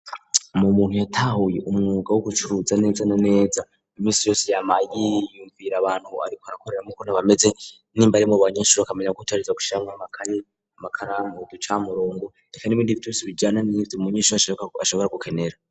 mu muntu yatahuye umwuga wo gucuruza neza na neza imisi yose yama yiyumvira abantu ariko arakoreramwo uko bameze n'imbari abanyeshuri akamenya ko ategerezwa gushiramwo akaye amakaramu uducamurongo reka n, ibindi vyose bijana nivyo umunyeshure ashobora gukenera